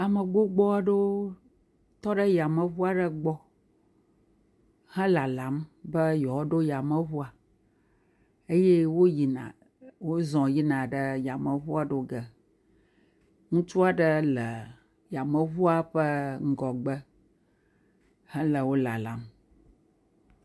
Ame gbogbo aɖewo tɔ ɖe yameŋu aɖe gbɔ he lalam be yewoaɖo yameŋua eye wo yina, wozɔ yina ɖe yameŋua ɖo ge. Ŋutsu aɖe le yameŋua ƒe ŋgɔgbe hele wo lalam.